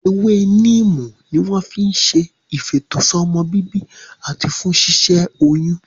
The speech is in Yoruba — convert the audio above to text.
Ewé níìmù ni wọ́n fi n ṣe ìfètò sọ́mọbíbí àti fún ṣíṣẹ́ oyún